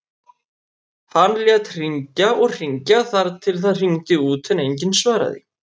Hann lét hringja og hringja þar til það hringdi út en enginn svaraði.